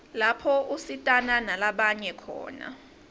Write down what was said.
lapho usitana nalabanye khona